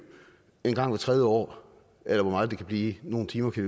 engang hvert tredje år eller hvor meget det kan blive nogle timer kan